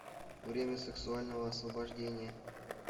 время сексуального освобождения